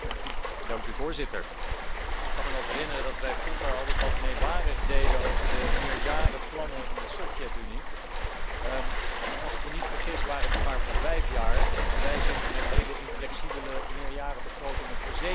Voorzitter, ik kan mij nog herinneren dat wij vroeger altijd wat meewarig deden over de meerjarenplannen in de Sovjetunie, maar als ik me niet vergis waren die maar voor vijf jaar, terwijl wij nu zitten met hele onflexibele meerjarenbegrotingen voor zeven jaar.